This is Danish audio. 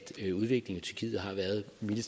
man